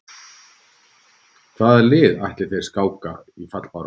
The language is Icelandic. Hvaða liði ætla þeir að skáka í fallbaráttunni?